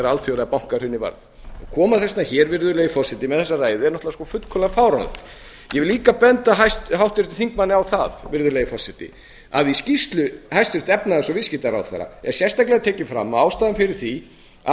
alþjóðlega bankahrunið var og koma þess vegna hingað með þessa ræðu er náttúrlega svo fullkomlega fáránlegt ég vil líka benda háttvirtum þingmanni á að í skýrslu hæstvirts efnahags og viðskiptaráðherra er sérstaklega tekið fram að ástæðan fyrir því að